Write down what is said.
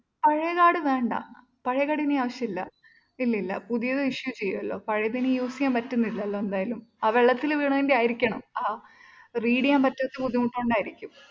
പഴേ കാർഡ് വേണ്ട പഴേ കാർഡ് ഇനി ആവശ്യമില്ല. ഇല്ലില്ല പുതിയത് issue ചെയ്യുവല്ലോ പഴേതിനി use ചെയ്യാൻ പറ്റുന്നില്ലല്ലോ എന്തായാലും ആ വെള്ളത്തിൽ വീണതിൻ്റെ ആയിരിക്കണം. ആ read ചെയ്യാൻ പറ്റാത്ത ബുദ്ധിമുട്ട് കൊണ്ടായിരിക്കും.